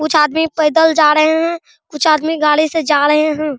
कुछ आदमी पैदल जा रहे है कुछ आदमी गाड़ी से जा रहे है।